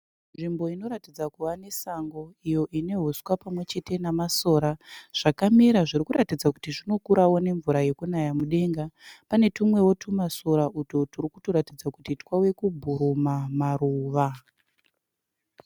Nzvimbo inoratidza kuva nesango iyo ine uswa pamwe chete namasora zvakamera zviri kuratidza kuti zvinokurawo nemvura yekunaya mudenga. Pane tumwewo tumasora utwo turi kutoratidza kuti twave kubhuruma maruva.